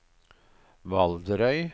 Valderøy